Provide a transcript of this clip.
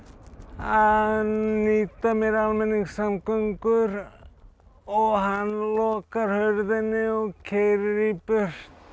að nýta mér almenningssamgöngur og hann lokar hurðinni og keyrir í burtu